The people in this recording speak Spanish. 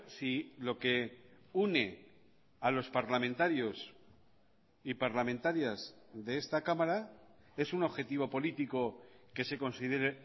si loque une a los parlamentarios y parlamentarias de esta cámara es un objetivo político que se considere